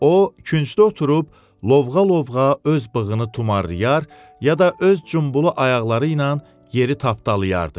O küncdə oturub lovğa-lovğa öz bığını tumarlayar, ya da öz cumbulu ayaqları ilə yeri tapdalayardı.